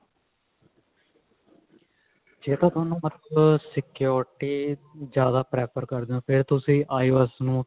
ਜੇ ਤਾਂ ਥੋਨੂੰ ਮਤਲਬ security ਜਿਆਦਾ prefer ਕਰਦੇ ਹੋ ਫ਼ੇਰ ਤੁਸੀਂ IOS ਨੂੰ